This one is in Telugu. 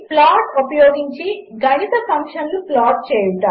ప్లాట్ఉపయోగించిగణితఫంక్షన్లుప్లాట్చేయుట